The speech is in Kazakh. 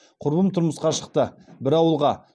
құрбым тұрмысқа шықты бір ауылға